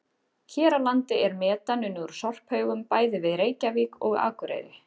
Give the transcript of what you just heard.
Hér á landi er metan unnið úr sorphaugum bæði við Reykjavík og Akureyri.